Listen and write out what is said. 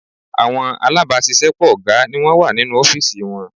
Àwọn alábàáṣiṣẹ́pọ̀ ọ̀gá ni wọ́n wà nínú ọ́fìsì wọn